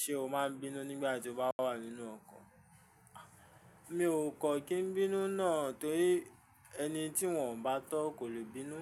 Ṣé o máa n bínú nígbàtí o bá wà nínú ọkọ̀? Mi ò kọ́ kí n bínú náà torí ẹni tí wọ́n ò bá tọ́ kò leè bínú.